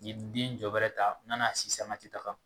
Ye den jɔbɛrɛ ta n'a n'a si sanga tɛ taga